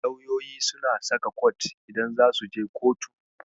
Lauyoyi suna saka kot idan zasu je kotu.